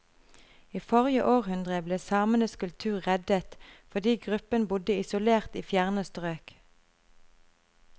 I forrige århundre ble samenes kultur reddet fordi gruppen bodde isolert i fjerne strøk.